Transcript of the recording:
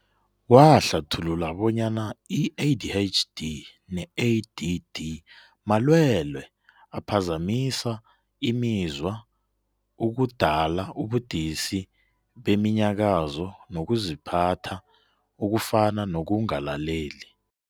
Wahlathulula bonyana i-ADHD ne-ADD malwele aphazamisa imizwa okudala ubudisi beminyakazo nokuziphatha, okufana nokungalaleli.